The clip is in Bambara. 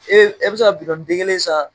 e bɛ se ka den kelen san.